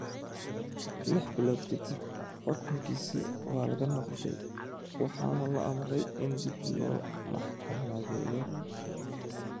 Lix bilood ka dib, xukunkiisii ​​waa laga noqday, waxaana la amray in dib loo maxkamadeeyo.